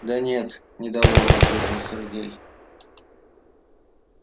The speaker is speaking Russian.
да нет недовольно ответил сергей